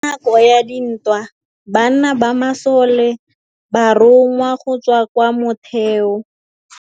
Ka nakô ya dintwa banna ba masole ba rongwa go tswa kwa mothêô.